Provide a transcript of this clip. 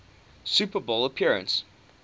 super bowl appearance